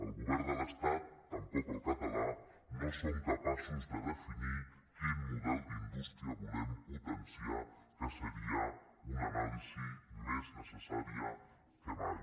el govern de l’estat tampoc el català no són capaços de definir quin model d’indústria volem potenciar que seria una anàlisi més necessària que mai